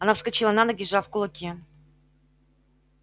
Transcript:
она вскочила на ноги сжав кулаки